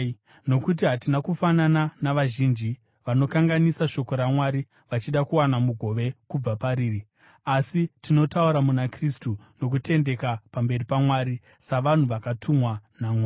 Nokuti hatina kufanana navazhinji vanokanganisa shoko raMwari vachida kuwana mugove kubva pariri. Asi, tinotaura muna Kristu nokutendeka pamberi paMwari, savanhu vakatumwa naMwari.